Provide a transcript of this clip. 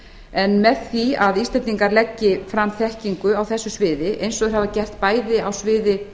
en með því að íslendingar leggi fram þekkingu á þessu sviði eins og þeir hafa gert bæði á sviði